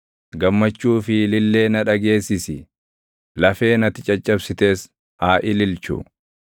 Gammachuu fi ilillee na dhageessisi; lafeen ati caccabsites haa ililchu.